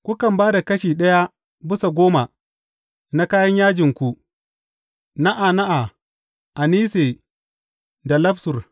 Kukan ba da kashi ɗaya bisa goma na kayan yajinku, na’ana’a, anise, da lafsur.